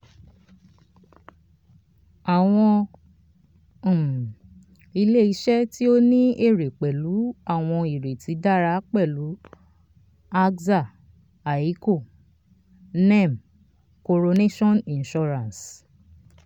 um àwọn um ilé-iṣẹ́ tí ó ní èrè pẹ̀lú àwọn ìrètí dára pẹ̀lú axa aiico nem coronation insurance."